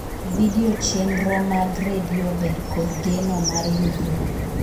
vidio chenro mag redio ber kod geno mar yudruok